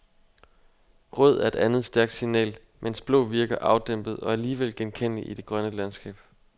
Rød er et andet stærkt signal, mens blå virker afdæmpet og alligevel genkendelig i det grønne landskab.